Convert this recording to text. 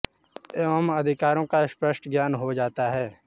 एवं अधिकारों का स्पष्ट ज्ञान हो जाता है